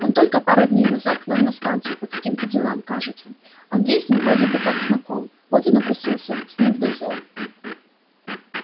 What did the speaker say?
он только на пару дней к нам на станцию по каким-то делам кажется андрей с ним вроде бы как знаком вот он и напросился с ним в дозор